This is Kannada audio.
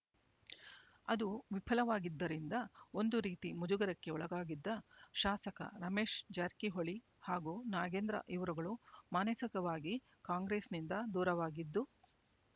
ಅದು ವಿಫಲವಾಗಿದ್ದರಿಂದ ಒಂದು ರೀತಿ ಮುಜುಗರಕ್ಕೆ ಒಳಗಾಗಿದ್ದ ಶಾಸಕ ರಮೇಶ್ ಜಾರಕಿಹೊಳಿ ಹಾಗೂ ನಾಗೇಂದ್ರ ಇವರುಗಳು ಮಾನಸಕವಾಗಿ ಕಾಂಗ್ರೆಸ್‌ನಿಂದ ದೂರವಾಗಿದ್ದು